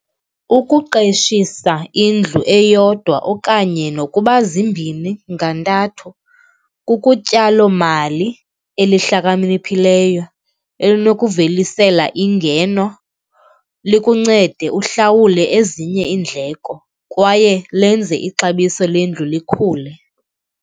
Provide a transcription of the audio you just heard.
Ukuqeshisa indlu eyodwa okanye nokuba zimbini ngantathu, kukutyalomali eliihlakaniphileyo, elinokuvelisela ingeno, likuncede uhlawule ezinye iindleko kwaye lenze ixabiso lendlu likhule.